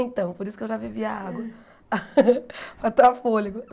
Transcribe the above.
Então, por isso que eu já bebi a água, para tomar fôlego.